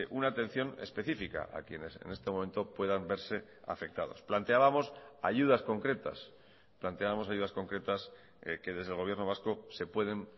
una atención específica a quienes en este momento puedan verse afectados planteábamos ayudas concretas planteábamos ayudas concretas que desde el gobierno vasco se pueden